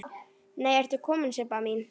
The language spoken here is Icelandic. Nei ertu komin Sibba mín!